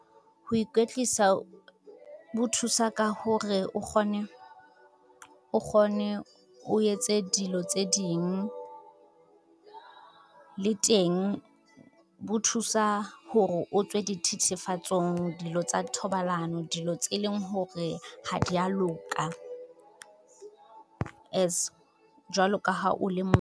Ho ikwetlisa ho thusa ka hore o kgone, o etse dilo tse ding. Le teng bo thusa hore o tswe dithethefatsong dilo tsa thobalano dilo tse leng hore ha dia loka, as jwalo ka ha o le .